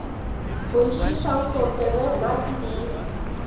поищи шансон тв на тв